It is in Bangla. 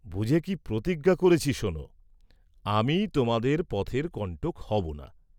বুঝে কি প্রতিজ্ঞা করেছি শোন, আমি তোমাদের পথের কণ্টক হব না।